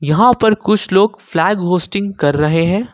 यहां पर कुछ लोग फ्लैग होस्टिंग कर रहे हैं।